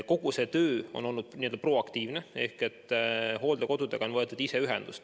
Kogu see töö on olnud n-ö proaktiivne ehk hooldekodudega on võetud ise ühendust.